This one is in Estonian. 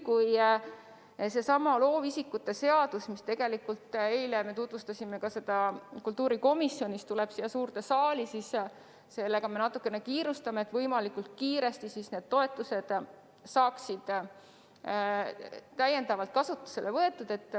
Kui seesama loovisikute seadus, mida me eile kultuurikomisjonis tutvustasime, siia suurde saali tuleb, siis sellega me natuke kiirustame, et võimalikult kiiresti saaksid need toetused kasutusele võetud.